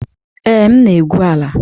Ee, m na-egwu ala.